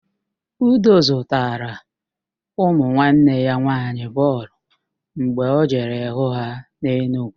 Udo zụtara ụmụ nwanne ya nwaanyị bọọlụ mgbe ọ jere hụ ha n'Enugwu